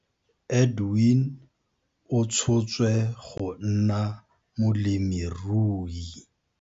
Edwin o tshotswe go nna molemirui.